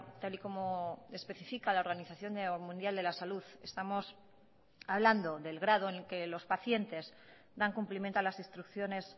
tal y como especifica la organización mundial de la salud estamos hablando del grado en el que los pacientes dan cumplimiento a las instrucciones